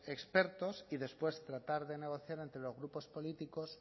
expertos y después tratar de negociar entre los grupos políticos